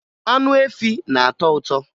Anụ efi na-atọ ụtọ